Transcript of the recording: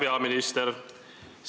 Hea peaminister!